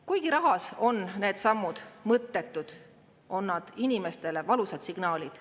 Kuigi rahas on need sammud mõttetud, on need inimestele valusad signaalid.